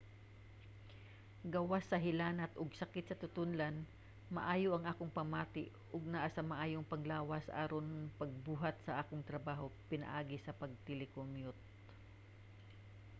gawas sa hilanat ug sakit sa tutonlan maayo ang akong pamati ug naa sa maayong panglawas aron sa pagbuhat sa akong trabaho pinaagi sa pag-telecommute